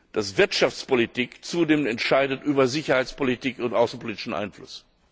dass Wirtschaftspolitik zunehmend entscheidet über Sicherheitspolitik und außenpolitischen Einfluss.